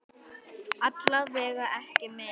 Alla vega ekki meir.